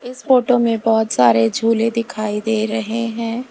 इस फोटो में बहोत सारे झूले दिखाई दे रहे हैं।